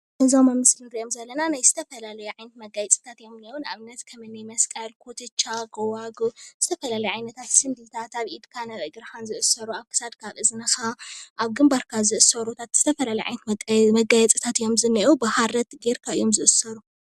እዞም ኣብ ምስሊ ንሪኦም ዘለና ናይ ዝተፈላለዩ ዓይነት መጋየፂታት እዮም እኒአው፡፡ ንኣብነት ከም እኒ መስቀል፣ ኩትቻ፣ ጎባጉብ ዝተፈላለዩ ዓይነታት ስንዲዳት ኣብ ኢድካ ኣብ ክሳድካን ዝእሰሩ ፣ ኣብ ኢዝንኻ ፣ኣብ ግንባርካ ዝእሰሩ ዝተፈላለዩ ዓይነት መጋየፂታት እዮም ዝኒኤው፡፡ ብሃሪ ጌርካ እዮም ዝእሰሩ፡፡